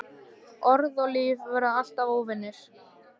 Orð og líf verða alltaf óvinir.